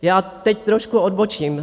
Já teď trošku odbočím.